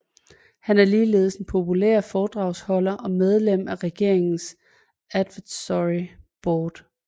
Han er ligeledes en populær foredragsholder og medlem af regeringens advisory board